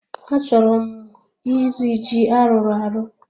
Achọrọ m iri ji a rụrụ arụ